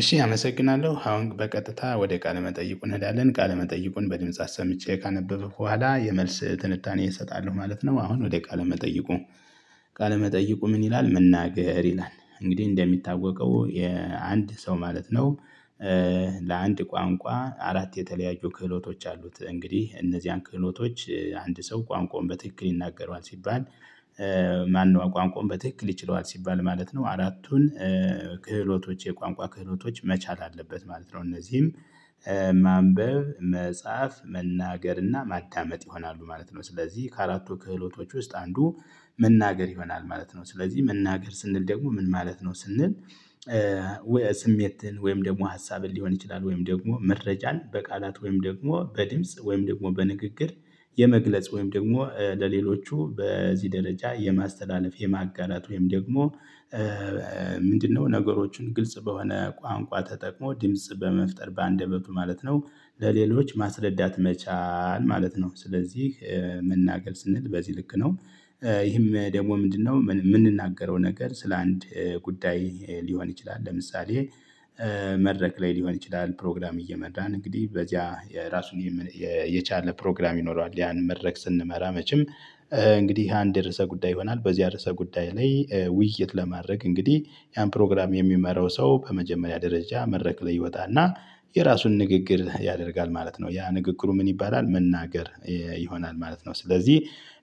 እሺ አመሰግናለሁ አሁን በቀጥታ ወደ ቃለ መጠይቁ እንሄዳለን ቃለ መጠይቁን በድምጽ አሰምቼ ካነበብኩ በኋላ የመልስ ትንታኔየን እሰጣለሁ ማለት ነው። አሁን ወደ ቃለ መጠይቁ። ቃለ መጠይቁ ምን ይላል መናገር ይላል? እንግዲህ እንደሚታወቀው የአንድ ሰው ማለት ነው። ለአንድ ቋንቋ አራት የተለያዩ ክህሎቶች አሉት እንግዲህ እነዚህን ክህሎቶች አንድ ሰው ቋንቋውን በትክክል ይናገረዋል ሲባል። ማነው ቋንቋውን በትክክል ይችለዋል ሲባል ማለት ነው? አራቱን ክህሎቶች የቋንቋ ክህሎቶች መቻል አለበት ማለት ነው። እነዚህም ማንበብ መጻፍ መናገር እና ማዳመጥ ይሆናሉ ማለት ነው። ስለዚህ ከአራቱ ክህሎቶች ውስጥ አንዱ መናገር ይሆናል ማለት ነው። ስለዚህ መናገር ስንል ደግሞ ምን ማለት ነው ስንል? ስሜትን ወይም ደግሞ ሀሳብን ሊሆን ይችላል ወይም ደግሞ መረጃን በቃላት ወይም ደግሞ በድምጽ ወይም ደግሞ በንግግር። የመግለጽ ወይም ደግሞ ለሌሎቹ በዚህ ደረጃ የማስተላለፍ የማጋራት ወይም ደግሞ ምንድነው ነገሮችን ግልጽ በሆነ ቋንቋ ተጠቅሞ ድምጽ በመፍጠር በአንደበቱ ማለት ነው። ለሌሎች ማስረዳት መቻል ማለት ነው። ስለዚህ መናገር ስንል በዚህ ልክ ነው። ይህም ደግሞ ምንድነው የምንናገረው ነገር ስለአንድ ጉዳይ ሊሆን ይችላል። ለምሳሌ መድረክ ላይ ሊሆን ይችላል ፕሮግራም እየመራን እንግዲህ በዚያ የራሱን የቻለ ፕሮግራም ይኖረዋል ያንን መድረክ ስንመራ መቼም። እንግዲህ እሄ አንድ ርዕሰ ጉዳይ ይሆናል በዚያ ርዕሰ ጉዳይ ላይ ውይይት ለማድረግ እንግዲህ ያን ፕሮግራም የሚመራው ሰው በመጀመሪያ ደረጃ መድረክ ላይ ይወጣ እና የራሱን ንግግር ያደርጋል ማለት ነው። ያ ንግግሩ ምን ይባላል? መናገር ይሆናል ማለት ነው። ስለዚህ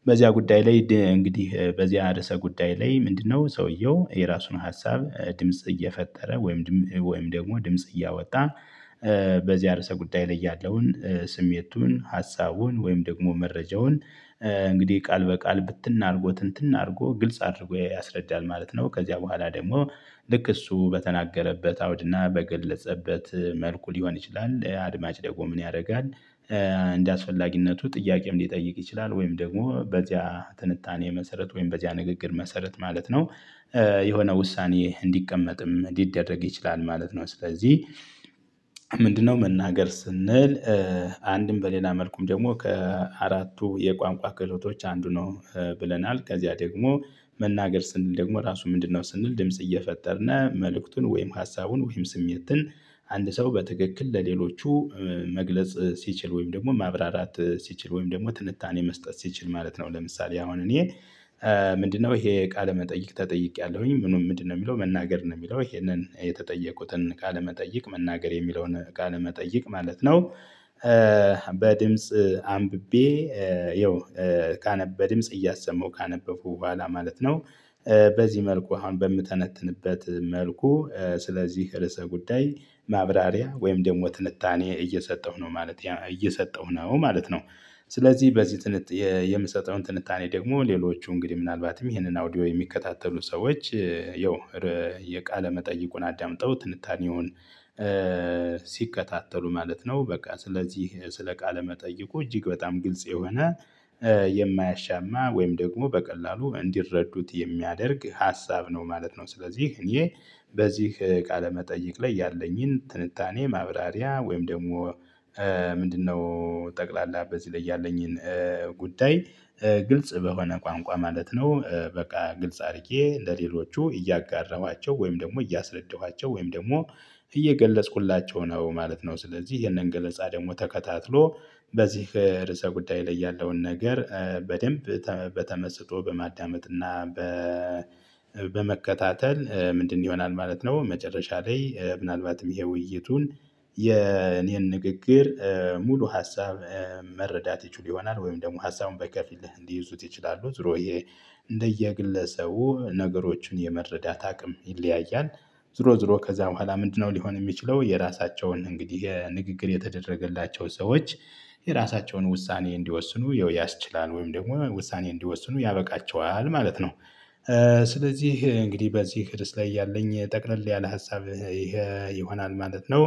በዚያ ጉዳይ ላይ እንግዲህ በዚያ እርሰ ጉዳይ ላይ ምንድነው ሰውየው የራሱን ሀሳብ ድምጽ እየፈጠረ ወይም ወይም ደግሞ ድምጽ እያወጣ። በዚህ አርሰ ጉዳይ ላይ ያለውን ስሜቱን ሀሳቡን ወይም ደግሞ መረጃውን እንግዲህ ቃል በቃል ብትን አርጎ ትንትን አድርጎ ግልጽ አድርጎ ያስረዳል ማለት ነው። ከዚያ በኋላ ደግሞ ልክ እሱ በተናገረበት አውድና በገለጸበት መልኩ ሊሆን ይችላል። አድማጭ ደግሞ ምን ያደርጋል? እንደአስፈላጊነቱ ጥያቄም ሊጠይቅ ይችላል ወይም ደግሞ በዚያ ትንታኔ መሰረት ወይም በዚያ ንግግር መሰረት ማለት ነው። የሆነ ውሳኔ እንዲቀመጥም ሊደረግ ይችላል ማለት ነው። ስለዚህ ምንድነው መናገር ስንል? አንድም በሌላ መልኩም ደግሞ ከአራቱ የቋንቋ ክህሎቶች አንዱ ነው። ብለናል ከዚያ ደግሞ መናገር ስንል ደግሞ ራሱ ምንድነው ስንል ድምጽ እየፈጠርነ መልእክቱን ወይም ሀሳቡን ወይም ስሜትን አንድ ሰው በትክክል ለሌሎቹ መግለጽ ሲችል ወይም ደግሞ ማብራራት ሲችል ወይም ደግሞ ትንታኔ መስጠት ሲችል ማለት ነው። ለምሳሌ አሁን እኔ ምንድነው እሄ ቃለ መጠይቅ ተጠይቄያለሁኝ ምንም ምንድነው የሚለው መናገር ነው የሚለው ይሄንን የተጠየቁትን ካለመጠየቅ መናገር የሚለውን ካለመጠየቅ ማለት ነው። በድምጽ አንብቤ ያው በድምጽ እያሰመው ካነበብኩ በኋላ ማለት ነው። በዚህ መልኩ በምተነትንበት መልኩ ስለዚህ ርዕሰ ጉዳይ ማብራሪያ ወይም ደግሞ ትንታኔ እየሰጠሁ ነው ማለት እየሰጠሁ ነው ማለት ነው። ስለዚህ በዚህ የምሰጠውን ትንታኔ ደግሞ ሌሎቹ እንግዲህ ምናልባትም ይህንን አውዲዮ የሚከታተሉ ሰዎች ያው የቃለ መጠይቁን አዳምጠው ትንታኔውን ሲከታተሉ ማለት ነው። በቃ ስለዚህ ስለ ቃለ መጠይቁ እጅግ በጣም ግልጽ የሆነ የማያሻማ ወይም ደግሞ በቀላሉ እንዲረዱት የሚያደርግ ሀሳብ ነው ማለት ነው። ስለዚህ እኔ በዚህ ቃለ መጠይቅ ላይ ያለኝን ትንታኔ ማብራሪያ ወይም ደግሞ ምንድነው ጠቅላላ በዚህ ላይ ያለኝን ጉዳይ ግልጽ በሆነ ቋንቋ ማለት ነው። በቃ ግልጽ አድርጌ ለሌሎቹ እያጋራኋቸው ወይም ደግሞ እያሰረደኋቸው ወይም ደግሞ እየገለጽኩላቸው ነው ማለት ነው። ስለዚህ ይሄንን ገለጻ ደግሞ ተከታትሎ በዚህ ርዕሰ ጉዳይ ላይ ያለውን ነገር በደንብ በተመስጦ በማዳመጥና በመከታተል ምንድነው ይሆናል ማለት ነው። መጨረሻ ላይ ምናልባትም እሄ ውይይቱን የኔን ንግግር ሙሉ ሀሳብ መረዳት ይችሉ ይሆናል ወይም ደግሞ ሀሳቡን በከፊልህ እንዲይዙት ይችላሉ ዙሮ እሄ እንደየግለሰቡ ነገሮችን የመረዳት አቅም ይለያያል። ዞሮ ዞሮ ከዛ በኋላ ምንድነው ሊሆን የሚችለው የራሳቸውን እንግዲህ የንግግር የተደረገላቸው ሰዎች የራሳቸውን ውሳኔ እንዲወስኑ ያስችላል ወይም ደግሞ ውሳኔ እንዲወስኑ ያበቃቸዋል ማለት ነው። ስለዚህ እንግዲህ በዚህ ርዕስ ላይ ያለኝ ጠቅለል ያለ ሀሳብ እሄ ይሆናል ማለት ነው።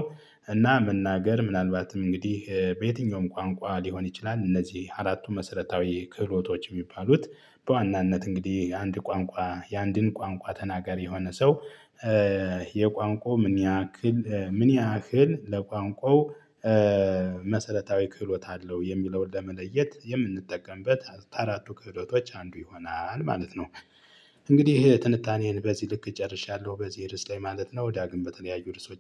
እና መናገር ምናልባትም እንግዲህ በየትኛውም ቋንቋ ሊሆን ይችላል እነዚህ አራቱ መሰረታዊ ክህሎቶች የሚባሉት በዋናነት እንግዲህ አንድ ቋንቋ የአንድን ቋንቋ ተናገሪ የሆነ ሰው የቋንቋው ምን ያክል ምን ያህል ለቋንቋው መሰረታዊ ክህሎት አለው የሚለውን ለመለየት የምንጠቀምበት ከአራቱ ክህሎቶች አንዱ ይሆናል ማለት ነው። እንግዲህ ትንታኔን በዚህ ልክ ጨርሻለሁ በዚህ ርዕስ ላይ ማለት ነው። ዳግም በተለያዪ ርዕሶች